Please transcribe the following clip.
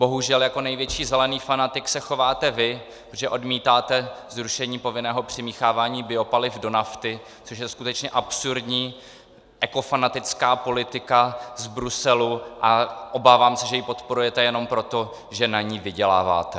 Bohužel jako největší zelený fanatik se chováte vy, protože odmítáte zrušení povinného přimíchávání biopaliv do nafty, což je skutečně absurdní ekofanatická politika z Bruselu, a obávám se, že ji podporujete jenom proto, že na ní vyděláváte.